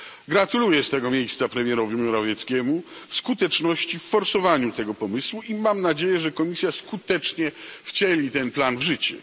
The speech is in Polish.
Gratuluję z tego miejsca premierowi Morawieckiemu skuteczności w forsowaniu tego pomysłu i mam nadzieję, że Komisja skutecznie wcieli ten plan w życie.